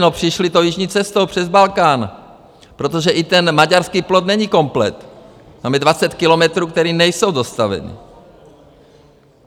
No přišli tou jižní cestou přes Balkán, protože i ten maďarský plot není komplet, tam je 20 kilometrů, které nejsou dostavěné.